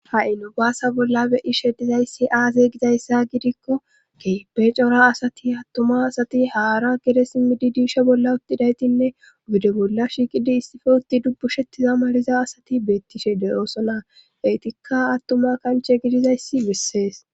ha7i nu baasa bolla beyishedizayssi aaze gizayssa gidikko keepe cora asati attuma asati haara gede simmidi diisha bolla uttidaytinne bide bolla shiiqidi issife utti dubbu shettiza mariza asati beettishe de ooso naa eytikka attuma kanche gidizayssi bissees